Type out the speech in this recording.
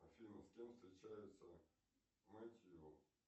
афина с кем встречается мэтью